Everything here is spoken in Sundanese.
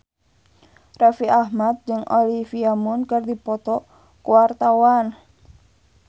Raffi Ahmad jeung Olivia Munn keur dipoto ku wartawan